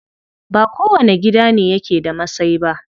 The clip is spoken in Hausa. Ba kowane gida ne yake da masai ba.